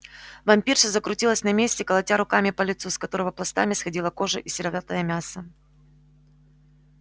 вампирша закрутилась на месте колотя руками по лицу с которого пластами сходили кожа и сероватое мясо